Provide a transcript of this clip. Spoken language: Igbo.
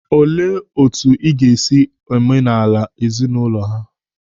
Olee otu ị ga-esi omenala ezinaụlọ ha?